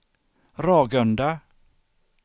Ragunda